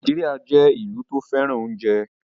Nàìjíríà jẹ́ ìlú tó fẹ́ràn oúnjẹ